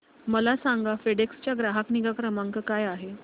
मला सांगा फेडेक्स चा ग्राहक निगा क्रमांक काय आहे